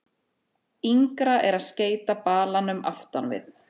Yngra er að skeyta balanum aftan við.